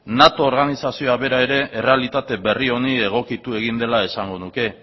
nato organizazioa bera ere errealitate berri honi egokitu egin dela esango nuke